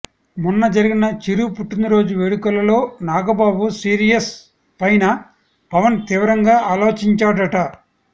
మొన్న జరిగిన చిరు పుట్టినరోజు వేడుకలలో నాగబాబు సీరియస్ పైనా పవన్ తీవ్రంగా ఆలోచించాడట